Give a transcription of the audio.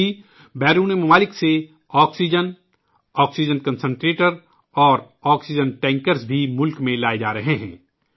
ساتھ ہی بیرونی ملکوں سے آکسیجن ، آکسیجن کنسنٹریٹرس اور کرائیوجینک ٹینکر بھی ملک میں لائے جارہے ہیں